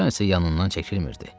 Dostcan isə yanından çəkilmirdi.